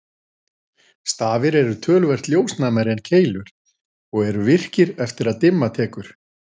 Stafir eru töluvert ljósnæmari en keilur og eru virkir eftir að dimma tekur.